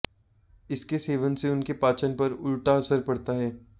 इसके सेवन से उनके पाचन पर उल्टा असर पड़ता है